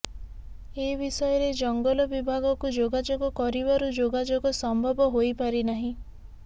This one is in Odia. ଏ ବିଷୟରେ ଜଙ୍ଗଲ ବିଭାଗକୁ ଯୋଗାଯୋଗ କରିବାରୁ ଯୋଗାଯୋଗ ସମ୍ଭବ ହୋଇ ପାରିନାହିଁ